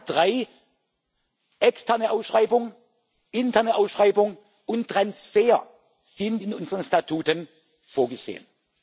Dienstes. Alle drei interne Ausschreibung, externe Ausschreibung und Transfer sind in unseren Statuten